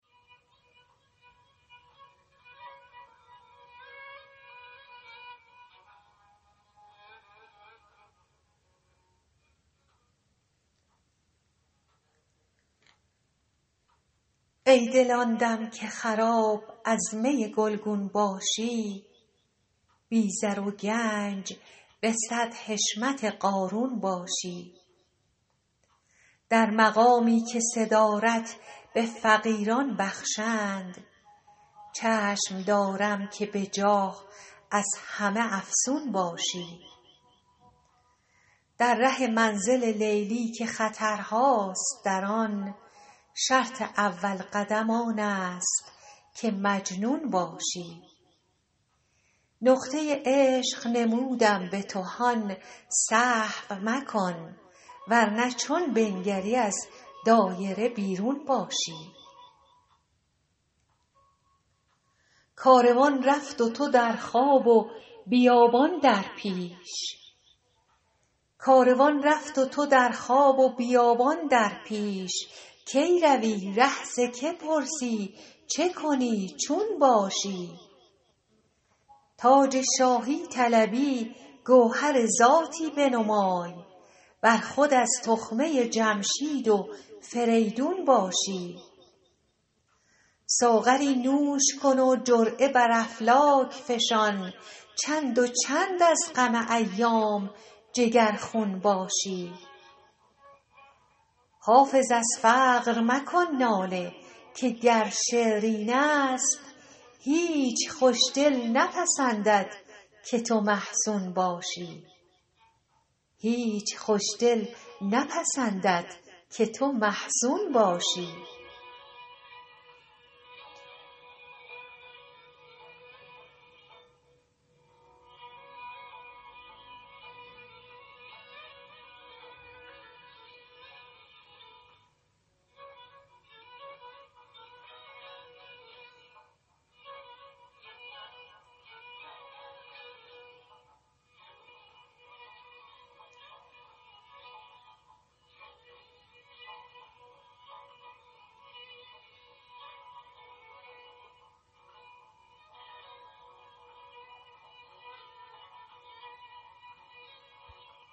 ای دل آن دم که خراب از می گلگون باشی بی زر و گنج به صد حشمت قارون باشی در مقامی که صدارت به فقیران بخشند چشم دارم که به جاه از همه افزون باشی در ره منزل لیلی که خطرهاست در آن شرط اول قدم آن است که مجنون باشی نقطه عشق نمودم به تو هان سهو مکن ور نه چون بنگری از دایره بیرون باشی کاروان رفت و تو در خواب و بیابان در پیش کی روی ره ز که پرسی چه کنی چون باشی تاج شاهی طلبی گوهر ذاتی بنمای ور خود از تخمه جمشید و فریدون باشی ساغری نوش کن و جرعه بر افلاک فشان چند و چند از غم ایام جگرخون باشی حافظ از فقر مکن ناله که گر شعر این است هیچ خوش دل نپسندد که تو محزون باشی